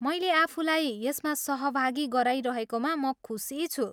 मैले आफूलाई यसमा सहभागी गराइरहेकोमा म खुसी छु।